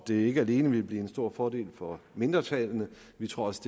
det ikke alene vil blive en stor fordel for mindretallene vi tror også